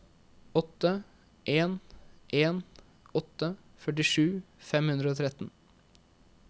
åtte en en åtte førtisju fem hundre og tretten